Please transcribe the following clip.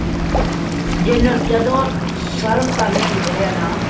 ਜਿਨੂੰ ਜਦੋ ,serve ਕਰਨੇ ਹੋਂਦੇ ਹੈ ਨਾ